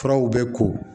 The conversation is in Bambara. Furaw bɛ ko